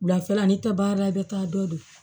Wulafɛla n'i tɛ baara la i bɛ taa dɔ de don